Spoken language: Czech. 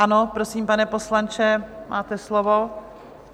Ano, prosím, pane poslanče, máte slovo.